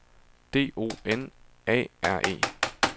D O N A R E